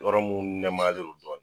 Yɔrɔ mun nɛmayalen do dɔɔn